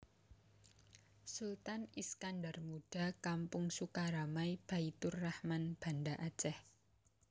Sultan Iskandar Muda Kampung Sukaramai Baitturahman Banda Aceh